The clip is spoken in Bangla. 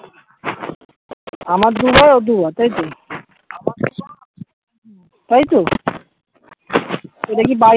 আমার দুবার ওর দুবার তাই তো তাই তো এটা কি বাইশ